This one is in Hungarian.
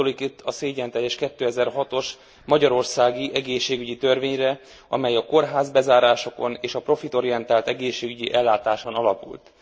Gondolok itt a szégyenteljes 2006 os magyarországi egészségügyi törvényre, amely a kórházbezárásokon és a profitorientált egészségügyi ellátáson alapult.